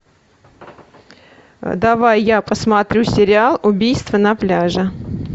давай я посмотрю сериал убийство на пляже